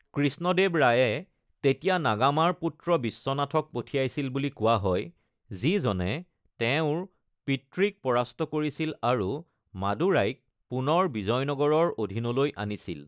কৃষ্ণদেৱ ৰায়ে তেতিয়া নাগামাৰ পুত্ৰ বিশ্বনাথক পঠিয়াইছিল বুলি কোৱা হয়, যিজনে তেওঁৰ পিতৃক পৰাস্ত কৰিছিল আৰু মাদুৰাইক পুনৰ বিজয়নগৰৰ অধিনলৈ আনিছিল।